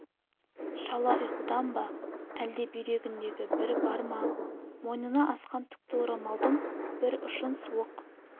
шала ұйқыдан ба әлде бүйрегінде бір бар ма мойнына асқан түкті орамалдың бір ұшын суық